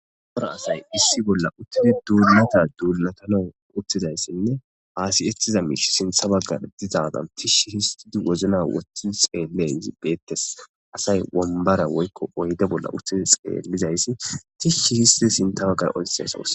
Ubara asay issi bolla uttidi duulata duulatanon uttizayssinne aasiyettiza miish sintha baggar dizadan tishshi histidi wozna woththii xeelei beettes asay wombara woykko oyde bolla uttidi xeellizayssi tishshi histi sinta baggar olxeasos.